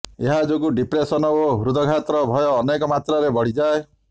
ଏହା ଯୋଗୁଁ ଡିପ୍ରେସନ୍ ଓ ହୃଦ୍ଘାତର ଭୟ ଅନେକ ମାତ୍ରାରେ ବଢ଼ିଯାଏ